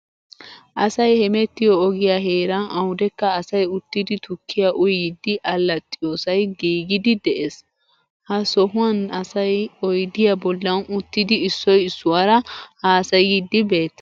Asay hemettiyo ogiyaa heeran awudekka asay uttidi tukkiya uyiiddi allaxxiyoosay giigiiddi de'es. Ha sohuwan asay oydiyaa bollan uttidi issoy issuwaara haasayiiddi beettees.